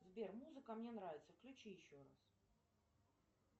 сбер музыка мне нравится включи еще раз